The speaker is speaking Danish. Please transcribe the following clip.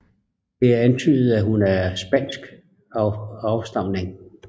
Det er antydet at hun er af spansk afstamning